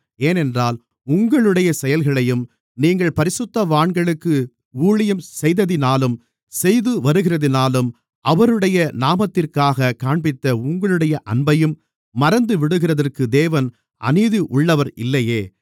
ஏனென்றால் உங்களுடைய செயல்களையும் நீங்கள் பரிசுத்தவான்களுக்கு ஊழியம் செய்ததினாலும் செய்து வருகிறதினாலும் அவருடைய நாமத்திற்காகக் காண்பித்த உங்களுடைய அன்பையும் மறந்துவிடுகிறதற்கு தேவன் அநீதியுள்ளவர் இல்லையே